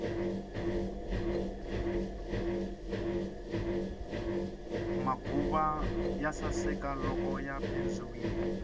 maguva ya saseka loko ya pendziwile